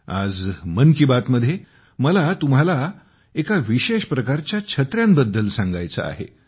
आज 'मन की बात' मध्ये मला तुम्हाला एका विशेष प्रकारच्या छत्र्यांबद्दल सांगायचे आहे